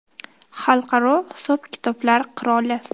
Xalqaro hisob-kitoblar qiroli.